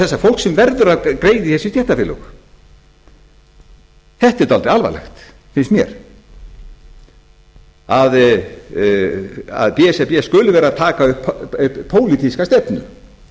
þessa fólks sem verður að greiða í þessi stéttarfélög þetta er dálítið alvarlegt finnst mér að b s r b skuli vera að taka upp pólitíska stefnu